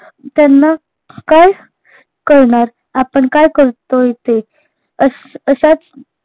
त्यांना काय कळणार आपण काय करतोय ते अश् अश्याच